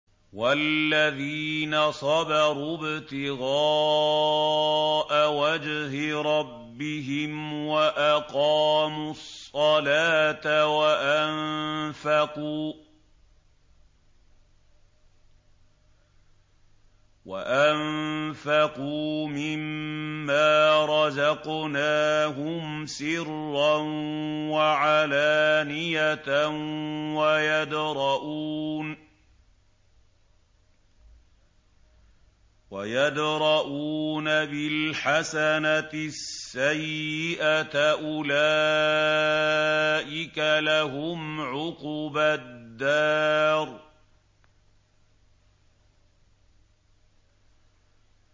وَالَّذِينَ صَبَرُوا ابْتِغَاءَ وَجْهِ رَبِّهِمْ وَأَقَامُوا الصَّلَاةَ وَأَنفَقُوا مِمَّا رَزَقْنَاهُمْ سِرًّا وَعَلَانِيَةً وَيَدْرَءُونَ بِالْحَسَنَةِ السَّيِّئَةَ أُولَٰئِكَ لَهُمْ عُقْبَى الدَّارِ